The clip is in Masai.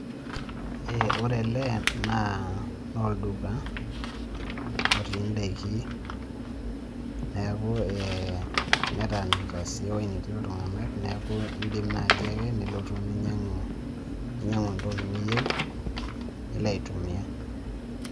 Ore ele na olduka otii daikin, neeku, neetanikita sii eweji naati iltung'ana neeku idim naji ake nilotu ninyang'u entoki niyeu nilo aitumia.